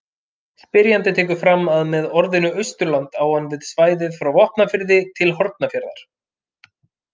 Spyrjandi tekur fram að með orðinu Austurland á hann við svæðið frá Vopnafirði til Hornafjarðar.